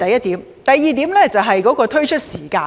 第二點是推出時間。